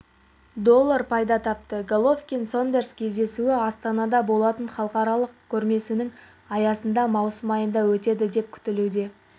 доллар пайда тапты головикн-сондерс кездесуі астанада болатын халықаралық көрмесінің аясында маусым айында өтеді деп күтілуде